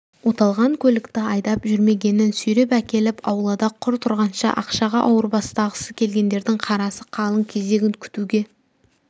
оталған көлікті айдап жүрмегенін сүйреп әкеліп аулада құр тұрғанша ақшаға ауырбастағысы келгендердің қарасы қалың кезегін күтуге